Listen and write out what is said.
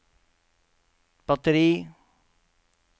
batteri